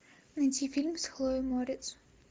найти фильм с хлоей морец